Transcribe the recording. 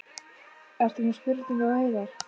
Ert þú með spurningu á Hreiðar?